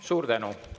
Suur tänu!